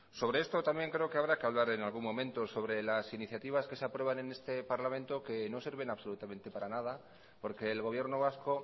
sobre esto también creo que habrá que hablar en algún momento sobre las iniciativas que se aprueban en este parlamento que no sirven absolutamente para nada porque el gobierno vasco